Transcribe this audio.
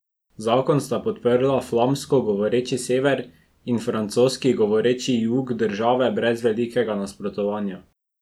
Zakon sta podprla flamsko govoreči sever in francoski govoreči jug države brez velikega nasprotovanja.